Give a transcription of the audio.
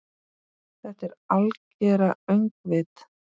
Þetta algera öngvit?